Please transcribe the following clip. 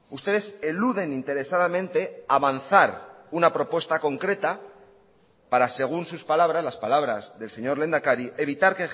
ustedes eluden interesadamente avanzar una propuesta concreta para según sus palabras las palabras del señor lehendakari evitar